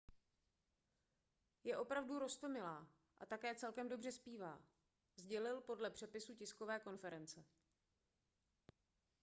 je opravdu roztomilá a také celkem dobře zpívá sdělil podle přepisu tiskové konference